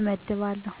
እመድባለሁ።